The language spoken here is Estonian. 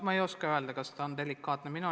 Ma ei oska öelda, kas see on delikaatne küsimus.